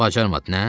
Bacarmadın, nə?